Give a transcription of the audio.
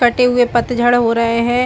कटे हुए पतझड़ हो रहै है।